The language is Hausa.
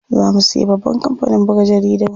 Za mu siya babban kampanin buga jaridu.